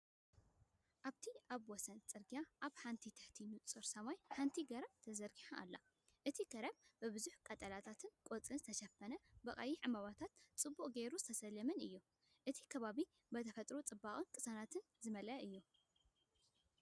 ኣብቲ ኣብ ወሰን ጽርግያ ኣብ ትሕቲ ንጹር ሰማይ ሓንቲ ገረብ ተዘርጊሓ ትርአ። እቲ ገረብ ብብዙሕ ቀጠልያ ቆጽሊ ዝተሸፈነን ብቐይሕ ዕምባባታት ጽቡቕ ጌሩ ዝተሰለመን እዩ። እቲ ከባቢ ብተፈጥሮኣዊ ጽባቐን ቅሳነትን ዝተመልአ እዩ።